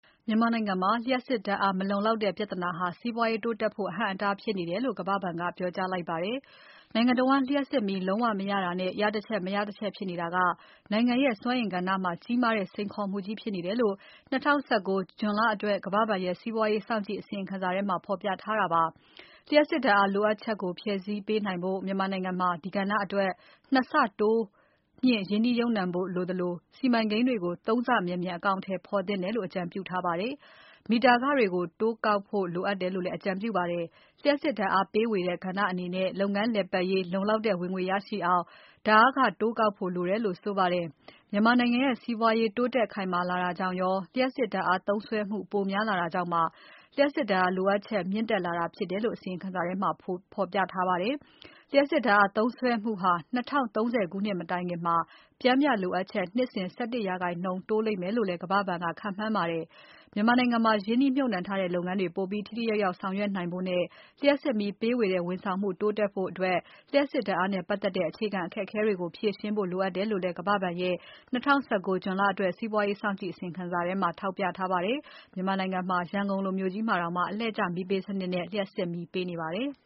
မြန်မာနိုင်ငံမှာ လျှပ်စစ်ဓါတ်အားမလုံလောက်တဲ့ ပြဿနာဟာ စီးပွားရေးတိုးတက်ဖို့ အဟန့်အတား ဖြစ်နေတယ်လို့ ကမ္ဘာ့ဘဏ်က ပြောကြားလိုက်ပါတယ်။ နိုင်ငံတဝန်း လျှပ်စစ်မီးလုံးဝ မရတာနဲ့ ရတချက် မရတချက်ဖြစ်နေတာက နိုင်ငံရဲ့ စွမ်းအင်ကဏ္ဍမှာ ကြီးမားတဲ့ စိန်ခေါ်မှုကြီးဖြစ်နေတယ်လို့ ၂၀၁၉ ဇွန်လ လအတွက် ကမ္ဘာ့ဘဏ်ရဲ့ စီးပွားရေး စောင့်ကြည့် အစီရင်ခံစာမှာ ဖော်ပြထားတာပါ။ လျှပ်စစ်ဓါတ်အားလိုအပ်ချက်ကို ဖြည့်ဆည်းနိုင်ဖို့ မြန်မာနိုင်ငံမှာ ဒီကဏ္ဍအတွက် ၂ ဆတိုးမြှင့် ရင်းနှီးမြှုပ်နှံဖို့လိုသလို စီမံကိန်းတွေကို ၃ ဆမြန်မြန် အကောင်အထည်ဖော်သင့်တယ်လို့ အကြံပြုထားပါတယ်။ မီတာ ခတွေကို တိုးကောင်ဖို့ လိုအပ်တယ်လို့လည်း အကြံပြုပါတယ်။ လျှပ်စစ်ဓါတ်အားပေးဝေတဲ့ ကဏ္ဍအနေနဲ့ လုပ်ငန်းလည်ပတ်ရေး လုံလောက်တဲ့ ဝင်ငွေရရှိအောင် ဓါတ်အားခတိုးကောက်ဖို့လိုတယ်လို့ ဆိုပါတယ်။ မြန်မာနိုင်ငံရဲ့ စီးပွားရေးတိုးတက်ခိုင်မာလာတာကြောင့်ရော၊ လျှပ်စစ်ဓါတ်အားသုံးစွဲမှု ပိုများလာတာကြောင့် လျှပ်စစ်ဓါတ်အားလိုအပ်ချက် မြင့်တက်လာတာဖြစ်တယ်လို့ အစီရင်ခံစာထဲမှာ ဖော်ပြထားပါတယ်။ လျှပ်စစ်ဓါတ်အားသုံးစွဲမှုဟာ ၂၀၃၀ ခုနှစ် မတိုင်ခင် ပျှမ်းမှုလိုအပ်ချက်က နှစ်စဉ် ၁၁% တိုးလိမ့်မယ်လို့လည်း ကမ္ဘာဘဏ်က ခန့်မှန်းပါတယ်။ မြန်မာနိုင်ငံမှာ ရင်းနှီးမြှုပ်နှံထားတဲ့ လုပ်ငန်းတွေ ပိုပြီးထိထိရောက်ရောက် ဆောင်ရွက်နိုင်ဖို့နဲ့ လျှပ်စစ်မီးပေးဝေတဲ့ဝန်ဆောင်မှု တိုးတက်ဖို့အတွက် လျှပ်စစ်ဓါတ်အားနဲ့ပတ်သက်တဲ့ အခြေခံ အခက်အခဲကို ဖြေရှင်းဖို့လိုအပ်တယ်လို့လည်း ကမ္ဘာ့ဘဏ်ရဲ့ ၂၀၁၉ ဇွန်လအတွက် စီးပွားရေး စောင့်ကြည့် အစီရင်ခံစာမှာ ထောက်ပြထားပါတယ်။ မြန်မာနိုင်ငံက ရန်ကုန်လိုမြို့ကြီးမှာတောင် အလှည့်ကျမီးပေးစနစ်နဲ့ လျှပ်စစ်မီးပေးနေပါတယ်။